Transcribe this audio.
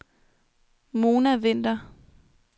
Mona Winther